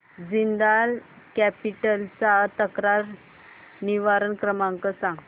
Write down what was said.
Jindal capital चा तक्रार निवारण क्रमांक सांग